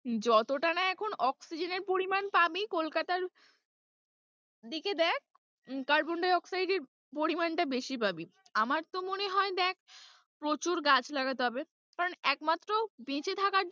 যতটা না এখন oxygen এর পরিমান পাবি কলকাতার দিকে দেখ carbon-di-oxide এর পরিমানটা বেশি পাবি, আমার তো মনে হয় দেখ, প্রচুর গাছ লাগাতে হবে কারণ একমাত্ৰ বেঁচে থাকার,